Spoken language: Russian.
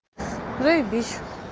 заебись